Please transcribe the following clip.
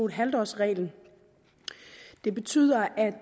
halv årsreglen det betyder at